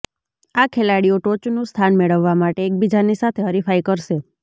આ ખેલાડીઓ ટોચનું સ્થાન મેળવવા માટે એકબીજાની સાથે હરીફાઇ કરશે